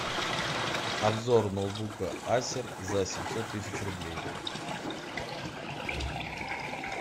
обзор ноутбука асер за семьсот тысяч рублей